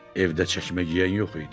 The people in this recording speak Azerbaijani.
Evdə çəkmə geyən yox idi.